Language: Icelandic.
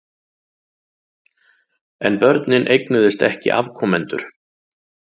En börnin eignuðust ekki afkomendur.